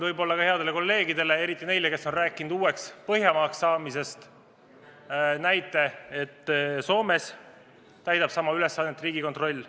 Toon headele kolleegidele, eriti neile, kes on rääkinud sellest, et meiegi võiksime kuuluda Põhjamaade hulka, näite, et Soomes täidab sama ülesannet Riigikontroll.